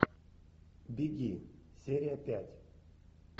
беги серия пять